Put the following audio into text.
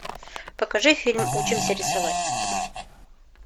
покажи фильм учимся рисовать